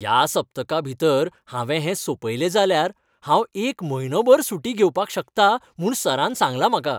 ह्या सप्तकाभितर हांवें हें सोंपयलें जाल्यार हांव एक म्हयनोभर सुटी घेवपाक शकतां म्हूण सरान सांगलां म्हाका!